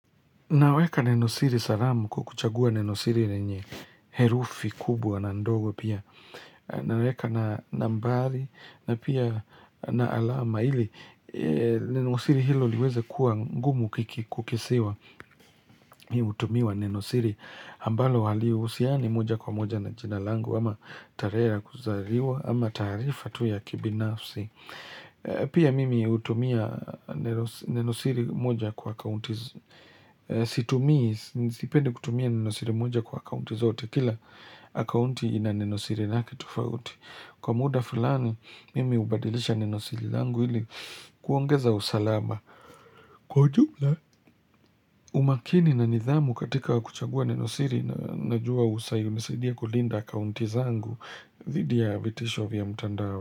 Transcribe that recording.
Naweka nenosiri salama kwa kuchagua nenosiri lenye herufi kubwa na ndogo pia. Naweka na nambari na pia na alama ili nenosiri hilo liweze kuwa ngumu kiki, kukisiwa. Mimi hutumiwa nenosiri ambalo halihusiani moja kwa moja na jina langu ama tarehe la kuzaliwa ama taarifa tu ya kibinafsi. Pia mimi hutumia nenosiri moja kwa akaunti. Situmii, sipendi kutumia nenosiri moja kwa akaunti zote. Kila akaunti ina nenosiri lake tufauti. Kwa muda fulani, mimi hubadilisha nenosiri langu ili kuongeza usalama. Kwa ujula umakini na nidhamu katika kuchagua nenosiri najua hunisadia kulinda akaunti zangu dhidi ya vitisho vya mtandao.